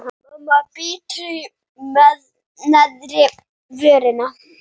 Mamma bítur í neðri vörina.